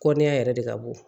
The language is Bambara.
Kɔɔniya yɛrɛ de ka bon